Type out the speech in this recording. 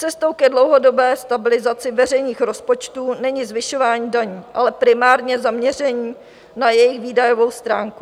Cestou ke dlouhodobé stabilizaci veřejných rozpočtů není zvyšování daní, ale primárně zaměření na jejich výdajovou stránku.